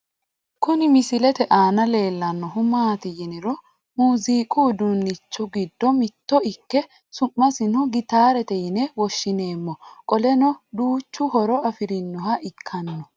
Kuni misilete aana leellannohu maati yiniro muuziiqu uduunnichi giddo mitto ikke su'masino gitaarete yine woshshineemmo qoleno duuchu horo afirinoha ikkanno